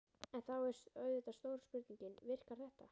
En þá er auðvitað stóra spurningin: Virkar þetta?